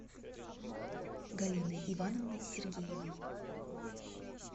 галины ивановны сергеевой